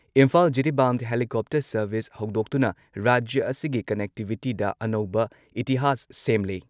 Imphal-Jiribam helicopter service ꯍꯧꯗꯣꯛꯇꯨꯅ ꯔꯥꯖ꯭ꯌ ꯑꯁꯤꯒꯤ ꯀꯟꯅꯦꯛꯇꯤꯚꯤꯇꯤꯗ ꯑꯅꯧꯕ ꯏꯇꯤꯍꯥꯁ ꯁꯦꯝꯂꯦ ꯫